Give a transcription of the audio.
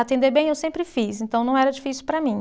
Atender bem eu sempre fiz, então não era difícil para mim.